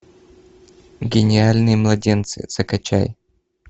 гениальные младенцы закачай